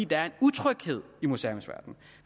der er en utryghed i museumsverdenen